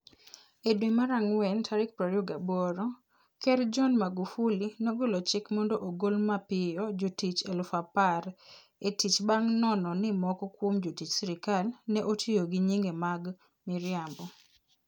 E dwe mara ngwen 28, Ker John Magufuli nogolo chik mondo ogol mapiyo jotich 10,000 e tich bang ' nono ni moko kuom jotich sirkal ne otiyo gi nyinge mag miriambo.